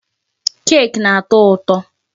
Cake na-atọ ụtọ.